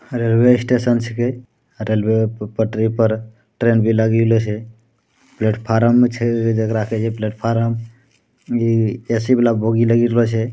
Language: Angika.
रेलवे स्टेशन छीके रेलवे प पटरी पर ट्रेन भी लगिले छै प्लेटफार्म छै जकड़ा कहे छै प्लेटफार्म इ ए.सी वाला बोगी लगी रहल छै।